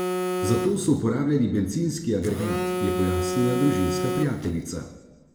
Zato so uporabljali bencinski agregat, je pojasnila družinska prijateljica.